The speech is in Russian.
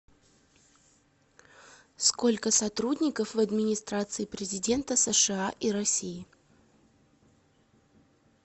сколько сотрудников в администрации президента сша и россии